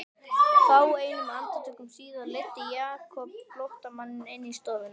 Fáeinum andartökum síðar leiddi Jakob flóttamanninn inn í stofuna.